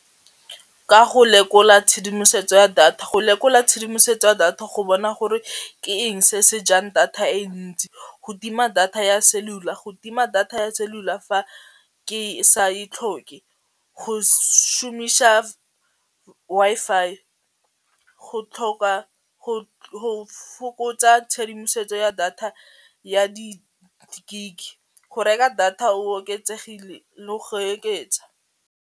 Ka go lekola tshedimosetso ya data go lekola tshedimosetso ya data go bona gore ke eng se sejang data e ntsi go tima data ya cellular go tima data ya cellular fa ke sa e tlhoke go šomiša Wi-Fi, go tlhoka go fokotsa tshedimosetso ya data ya di gig, go reka data o oketsegile le go oketsa.